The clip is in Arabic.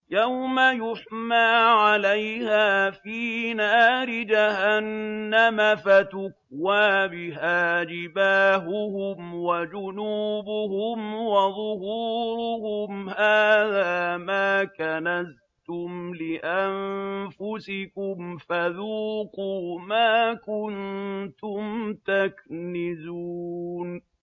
يَوْمَ يُحْمَىٰ عَلَيْهَا فِي نَارِ جَهَنَّمَ فَتُكْوَىٰ بِهَا جِبَاهُهُمْ وَجُنُوبُهُمْ وَظُهُورُهُمْ ۖ هَٰذَا مَا كَنَزْتُمْ لِأَنفُسِكُمْ فَذُوقُوا مَا كُنتُمْ تَكْنِزُونَ